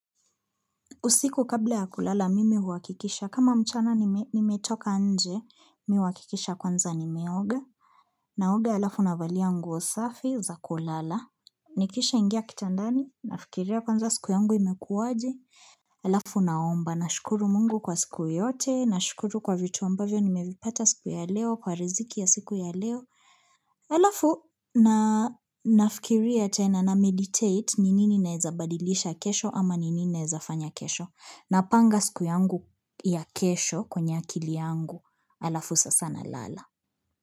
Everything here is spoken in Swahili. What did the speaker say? Usiku kabla ya kulala, mimi huakikisha. Kama mchana nimetoka nje, mi huakikisha kwanza nimeoga. Naoga alafu navalia nguo safi za kulala. Nikishaingia kitandani, nafikiria kwanza siku yangu imekuwa aje. Alafu naomba, nashukuru mungu kwa siku yote, nashukuru kwa vitu ambavyo, nimevipata kwa siku ya leo, kwa riziki ya siku ya leo. Alafu, na nafikiria tena nameditate, ni nini naeza badilisha kesho ama ni nini naeza fanya kesho. Napanga siku yangu ya kesho kwenye akili yangu alafu sasa nalala.